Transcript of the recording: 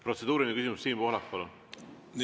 Protseduuriline küsimus, Siim Pohlak, palun!